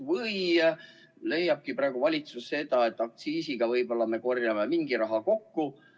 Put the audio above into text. Või siis leiab valitsus, et kõrgema aktsiisiga võib-olla me korjame rohkem raha kokku.